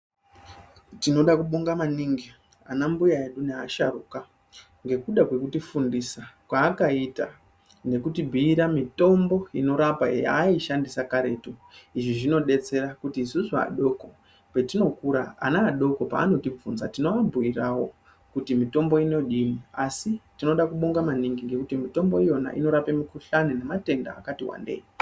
Tinoda kubonga maningi anambuya edu neasharuka ngekuda kwekutifindisa kwakaita , nekutibhiira mitombo inorapa yaaishandisa karetu izvi zvinodetsera kuti isusu adoko patinokura ana adoko paanotibvunza tinoabhirawo kuti mitombo inodini asi tinoda kubonga maningi ngekuti mitombo Yona inorape mikhuhlani nematenda akatiwandei.